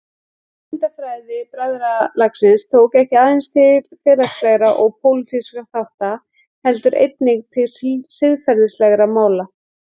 Hugmyndafræði bræðralagsins tók ekki aðeins til félagslegra og pólitískra þátta heldur einnig til siðferðislegra mála.